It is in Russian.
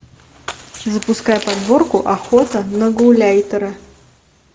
запускай подборку охота на гауляйтера